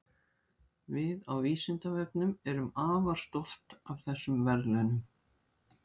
Við á Vísindavefnum erum afar stolt af þessum verðlaunum.